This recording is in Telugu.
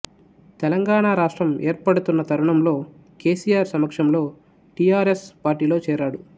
తెలంగాణ రాష్ట్రం ఏర్పడుతున్న తరుణంలో కేసీఆర్ సమక్షంలో టీఆర్ఎస్ పార్టీలో చేరాడు